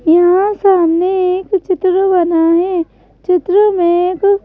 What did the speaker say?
यहाँ सामने एक चित्र बना है चित्र में एक--